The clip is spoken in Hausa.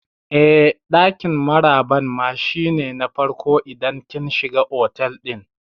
Eh, ɗakin maraban ma shi ne na farko idan kin shiga otal ɗin